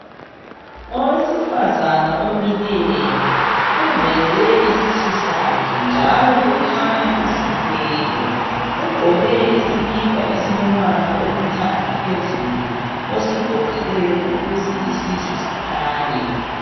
Owesifazana omileyo uveze isisu sakhe njalo kukhanya uzithwele, ugqoke isikipa esilombala olithanga phezulu osigoqileyo ukuze isisu sikhanye.